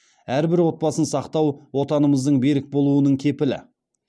әрбір отбасын сақтау отанымыздың берік болуының кепілі